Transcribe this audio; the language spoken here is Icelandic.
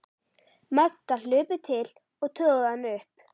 Magga hlupu til og toguðu hana upp.